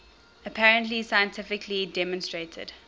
apparently scientifically demonstrated